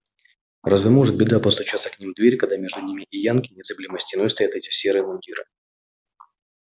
разве может беда постучаться к ним в дверь когда между ними и янки незыблемой стеной стоят эти серые мундиры